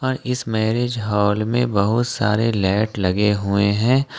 इस marriage hall में बहुत सारे लाइट लगे हुए है।